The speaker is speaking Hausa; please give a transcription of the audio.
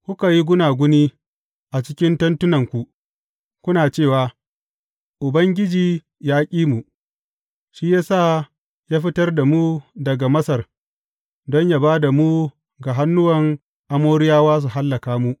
Kuka yi gunaguni a cikin tentunanku, kuna cewa, Ubangiji ya ƙi mu; shi ya sa ya fitar da mu daga Masar don yă ba da mu ga hannuwan Amoriyawa su hallaka mu.